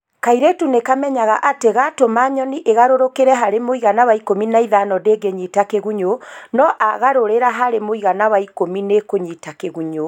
kairĩtu nĩkamenyaga atĩ gatũma nyoni ĩgarũrũkĩre harĩ mũigana wa 15 ndĩngĩnyita kĩgunyũ no agarũrĩra harĩ mũigana wa 10 nĩĩkũnyita kĩgunyũ